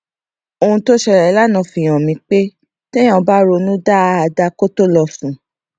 ohun tó ṣẹlè lánàá fi hàn mí pé téèyàn bá ronú dáadáa kó tó lọ sùn